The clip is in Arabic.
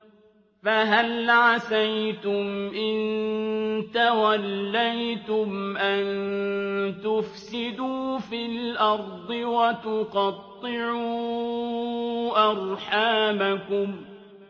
فَهَلْ عَسَيْتُمْ إِن تَوَلَّيْتُمْ أَن تُفْسِدُوا فِي الْأَرْضِ وَتُقَطِّعُوا أَرْحَامَكُمْ